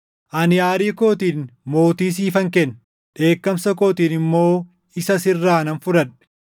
Ani aarii kootiin mootii siifan kenne; dheekkamsa kootiin immoo isa sirraa nan fudhadhe.